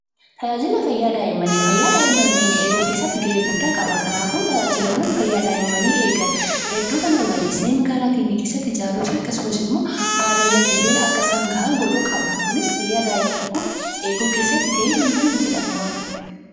Tajaajilli fayyaa daa'immanii: Fayyaa daa'imman keenya eeguu keessatti gahee olaanaa qaba. Tajaajila fayyaa daa'immanii kana magaalaa fi baadiyyaa keessatti babal'isuun fayyaa daa'imman keenyaa eeguuf nu gargaara.